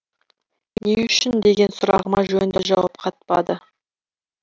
не үшін деген сұрағыма жөнді жауап қатпады